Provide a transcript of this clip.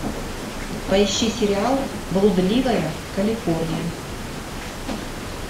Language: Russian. поищи сериал блудливая калифорния